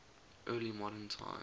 early modern times